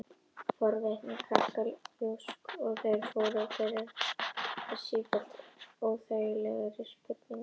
Forvitni krakkanna jókst og þeir fóru að spyrja mig sífellt óþægilegri spurninga.